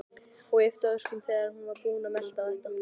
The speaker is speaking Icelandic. Og yppti öxlum þegar hún var búin að melta þetta.